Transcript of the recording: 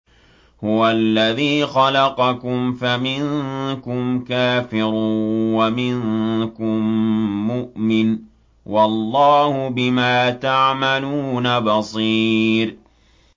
هُوَ الَّذِي خَلَقَكُمْ فَمِنكُمْ كَافِرٌ وَمِنكُم مُّؤْمِنٌ ۚ وَاللَّهُ بِمَا تَعْمَلُونَ بَصِيرٌ